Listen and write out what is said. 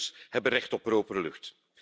Onze burgers hebben recht op propere lucht.